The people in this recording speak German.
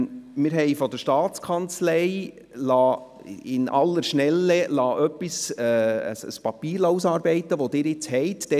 Wir haben von der Staatskanzlei in aller Schnelle ein Papier ausarbeiten lassen, das Sie jetzt haben.